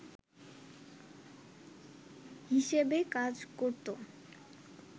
হিসেবে কাজ করত